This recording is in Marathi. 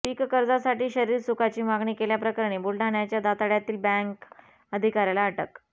पीककर्जासाठी शरीरसुखाची मागणी केल्याप्रकरणी बुलढाण्याच्या दाताळ्यातील बँक अधिकाऱ्याला अटक